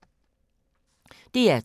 DR2